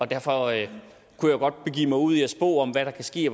derfor kunne jeg godt begive mig ud i at spå om hvad der kan ske